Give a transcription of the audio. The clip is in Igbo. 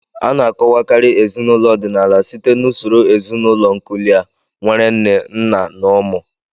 A na-akọwakarị ezinụlọ ọdịnala site n'usoro ezinụlọ nuklia, nwere nne, nna, na ụmụ.